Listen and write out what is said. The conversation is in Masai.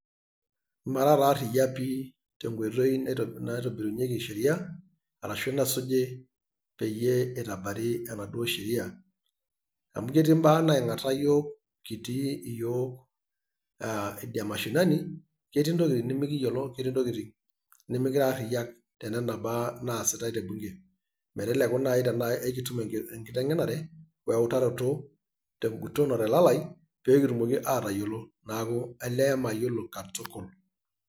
Mara taa aria pi tenkoitoi naitobirunyieki sheriaa arashu nesuji peyie eitabari enaduo sheriaa .amu ketii mbaa naingata yiok kitii iyiook aa idia mashinani ketii ntokitin nimiyiolo netii intokitin nimikira ariak tenena baa naasitai te bunge meteku nai tenaa ekitum enkitengenare oe utaroto tenguton otelalai pee kitumoki aatayiolo naaku olee mayiolo katukul.